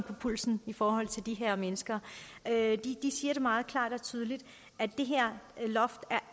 på pulsen i forhold til de her mennesker siger det meget klart og tydeligt at det her loft